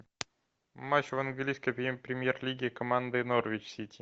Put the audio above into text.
матч в английской премьер лиги команды норвич сити